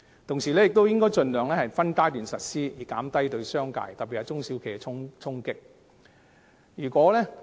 同時，政府應該盡量分階段實施，以減低對商界特別是中小企的衝擊。